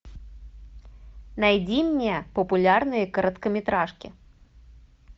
найди мне популярные короткометражки